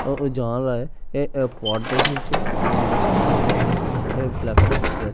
ও ও জানালায় এ এ পর্দা ঝুলছে এবং বেশ কিছু দেয়ালে অ্যা প্ল্যাকার্ড -ও দেখতে পা--